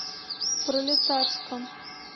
пролетарском